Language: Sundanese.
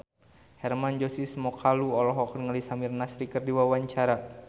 Hermann Josis Mokalu olohok ningali Samir Nasri keur diwawancara